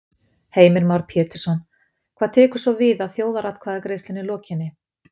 Heimir Már Pétursson: Hvað tekur svo við að þjóðaratkvæðagreiðslunni lokinni?